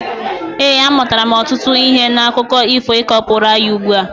ee, amụtara m ọtụtụ ihe n'akụkọ ifo ị ka kọpụrụ anyị ugbua